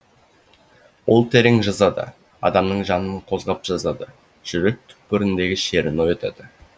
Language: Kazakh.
ол терең жазады адамның жанын қозғап жазады жүрек түкпіріндегі шерін оятады